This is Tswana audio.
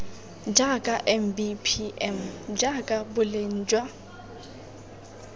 jaaka mbpm jaaka boleng jwa